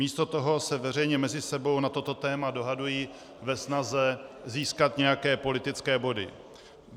Místo toho se veřejně mezi sebou na toto téma dohadují ve snaze získat nějaké politické body.